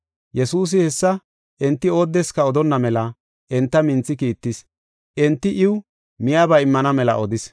Yesuusi hessa enti oodeska odonna mela enta minthi kiittis. Enti iw miyaba immana mela odis.